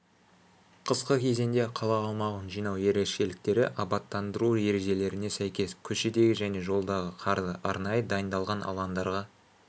қысқы кезеңде қала аумағын жинау ерекшеліктері абаттандыру ережелеріне сәйкес көшедегі және жолдағы қарды арнайы дайындалған алаңдарға